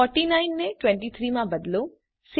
49 ને 23 માં બદલો